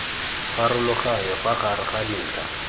pharologanyo fa gare ga dintlha